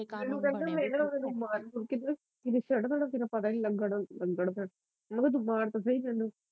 ਮੈਨੂੰ ਕਹਿੰਦਾ ਮੈ ਨਾ ਤੈਨੂੰ ਮਾਰ ਈ ਦੇਣਾ ਚੜਦਾ ਪਤ ਈ ਨਹੀਂ ਲੱਗਣ ਦਿੰਦਾ ਓਹਨੂੰ ਕਹਿ ਤ ਮਾਰ ਤਾ ਸਹੀ ਮੈਨੂੰ